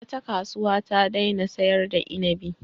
Wata kasuwa ta daina sayar da inibi.